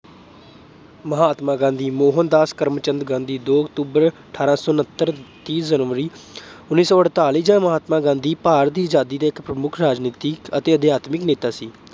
ਮਹਾਤਮਾ ਗਾਂਧੀ ਮੋਹਨਦਾਸ ਕਰਮਚੰਦ ਗਾਂਧੀ ਦੋ October ਅਠਾਰਾਂ ਸੌ ਉੱਨਤਰ, ਤੀਹ January ਉੱਨੀ ਸੌ ਅਠਤਾਲੀ ਮਹਾਤਮਾ ਗਾਂਧੀ ਭਾਰਤ ਦੀ ਆਜ਼ਾਦੀ ਦੇ ਇੱਕ ਪ੍ਰਮੁੱਖ ਰਾਜਨੀਤਿਕ ਅਤੇ ਅਧਿਆਤਮਕ ਨੇਤਾ ਸੀ।